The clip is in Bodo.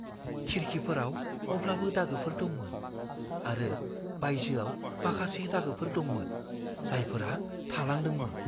खिरखिफोराव अब्लाबो दागोफोर दंमोन, आरो बायजोआव माखासे दागोफोर दंमोन, जायफोरा थालांदोंमोन।